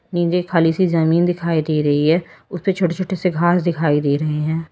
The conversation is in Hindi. नीचे खाली सी जमीन दिखाई दे रही है उसपे छोटे छोटे से घास दिखाई दे रहे हैं।